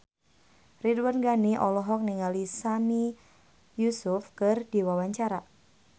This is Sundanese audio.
Ridwan Ghani olohok ningali Sami Yusuf keur diwawancara